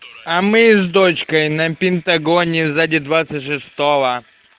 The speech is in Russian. а мы с дочкой на пентагоне сзади